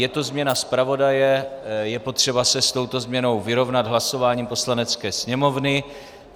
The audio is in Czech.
Je to změna zpravodaje, je potřeba se s touto změnou vyrovnat hlasováním Poslanecké sněmovny.